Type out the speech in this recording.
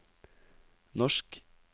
norsk